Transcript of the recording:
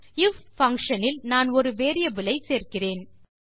if function இல் நான் ஒரு வேரியபிள் ஐ சேர்க்கிறேன்